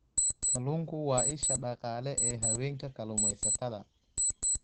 Kalluunku waa isha dhaqaale ee haweenka kalluumaysatada.